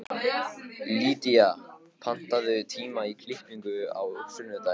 Lýdía, pantaðu tíma í klippingu á sunnudaginn.